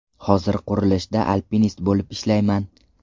Hozir qurilishda alpinist bo‘lib ishlayman.